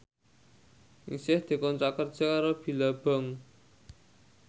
Ningsih dikontrak kerja karo Billabong